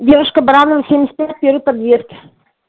девушка баранова семьдесят пять первый подъезд